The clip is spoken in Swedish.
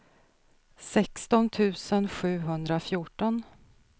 sexton tusen sjuhundrafjorton